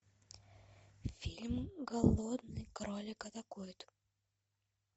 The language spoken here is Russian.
фильм голодный кролик атакует